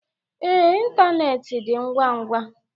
Ee, ịntanetị dị ngwa ngwa